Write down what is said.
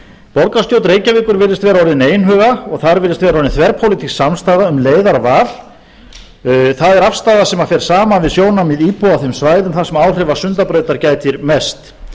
borgarstjórn reykjavíkur virðist vera orðin einhuga og þar virðist vera orðin þverpólitísk samstaða um leiðarval það er afstaða sem fer saman við sjónarmið íbúa á þeim svæðum þar sem áhrifa sundabrautar gætir mest